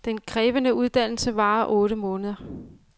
Den krævende uddannelse varer otte måneder.